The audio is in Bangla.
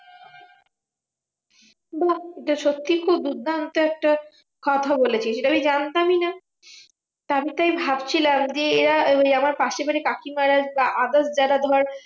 বাহ্ এটা সত্যিই খুব দুর্দান্ত একটা কথা বলেছিস, এটা আমি জানতামই না। তা আমি তাই ভাবছিলাম যে এরা ওই আমার পাশের বাড়ির কাকিমার বা others যারা ধর